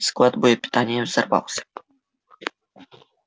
склад боепитания взорвался